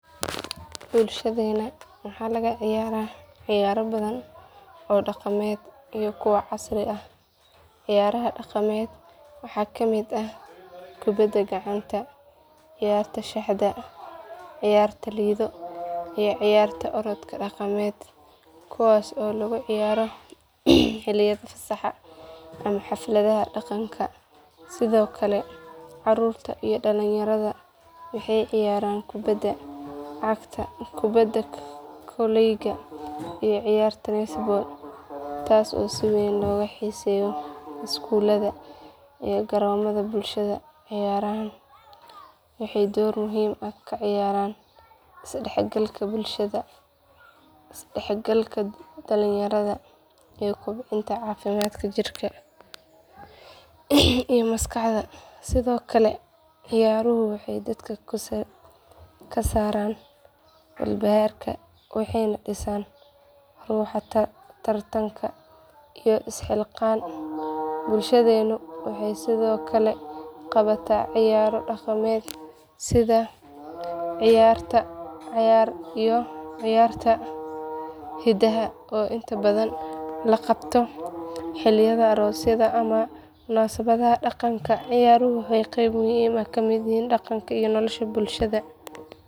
Bulshadeena waxaa laga ciyaaraa ciyaaro badan oo dhaqameed iyo kuwo casri ah ciyaaraha dhaqameed waxaa ka mid ah kubbadda gacanta ciyaarta shaxda ciyaarta lido iyo ciyaarta orodka dhaqameed kuwaas oo lagu ciyaaro xilliyada fasaxa ama xafladaha dhaqanka sidoo kale caruurta iyo dhalinyarada waxay ciyaaraan kubbadda cagta kubbadda kolayga iyo ciyaarta netball taasoo si weyn looga xiiseeyo iskuullada iyo garoomada bulshada ciyaarahan waxay door muhiim ah ka ciyaaraan isdhexgalka bulshada isdhexgalka dhalinyarada iyo kobcinta caafimaadka jirka iyo maskaxda sidoo kale ciyaaruhu waxay dadka ka saaraan walbahaarka waxayna dhisaan ruuxa tartanka iyo isxilqaan bulshadeenu waxay sidoo kale qabataa ciyaaro dhaqameed sida ciyaarta cayaar iyo ciyaarta hidaha oo inta badan la qabto xilliyada aroosyada ama munaasabadaha dhaqanka ciyaaruhu waa qayb muhiim ah oo ka mid ah dhaqanka iyo nolosha bulshada.